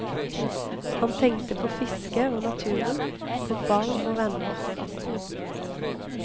Han tenkte på fiske og naturen, på barn og venner.